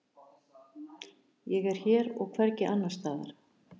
Ég er hér og hvergi annars staðar.